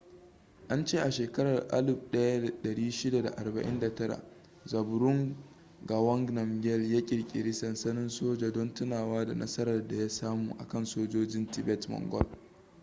an ce a shekarar 1649 zhabdrung ngawang namgyel ya kirkiri sansanin soja don tunawa da nasarar da ya samu a kan sojojin tibet-mongol